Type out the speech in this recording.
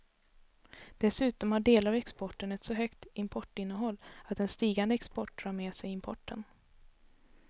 Dessutom har delar av exporten ett så högt importinnehåll att en stigande export drar med sig importen.